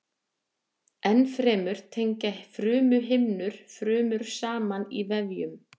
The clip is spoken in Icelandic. Ennfremur tengja frumuhimnur frumur saman í vefjum.